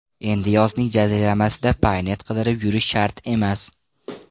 Endi yozning jaziramasida Paynet qidirib yurish shart emas.